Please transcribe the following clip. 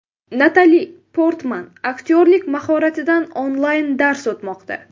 Natali Portman aktyorlik mahoratidan onlayn-dars o‘tmoqda .